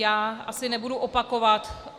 Já asi nebudu opakovat -